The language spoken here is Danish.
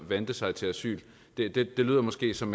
vente sig til asyl lyder måske som